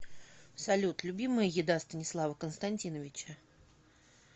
салют любимая еда станислава константиновича